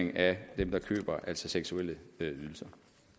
af dem der køber seksuelle ydelser